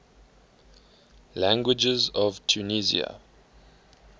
languages of tunisia